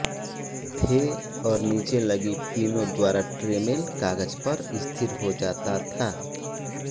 थे और नीचे लगी पिनों द्वारा ट्रेमेल कागज पर स्थिर हो जाता था